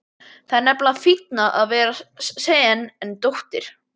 Það er nefnilega fínna að vera sen en dóttir.